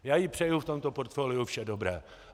Já jí přeju v tomto portfoliu vše dobré.